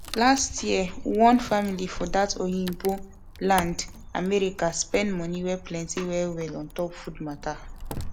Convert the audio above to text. last year one family for that oyinbo land america spend money wey plenty well well ontop food matter